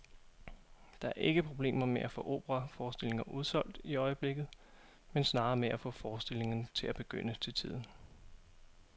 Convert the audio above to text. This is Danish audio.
Der er ikke problemer med at få operaforestillinger udsolgt i øjeblikket, men snarere med at få forestillingerne til at begynde til tiden.